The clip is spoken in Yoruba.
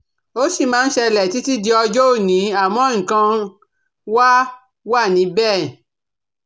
Ó sì máa ń ṣẹlẹ̀ títí di ọjọ́ òní, àmọ́ nǹkan wá wa níbẹ̀